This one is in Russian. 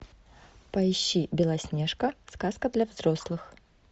поищи белоснежка сказка для взрослых